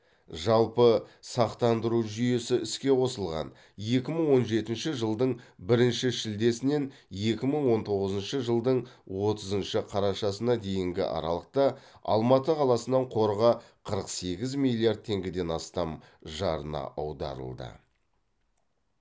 жалпы сақтандыру жүйесі іске қосылған екі мың он жетінші жылдың бірінші шілдесінен екі мың он тоғызыншы жылдың отызыншы қарашасына дейінгі аралықта алматы қаласынан қорға қырық сегіз миллиард теңгеден астам жарна аударылды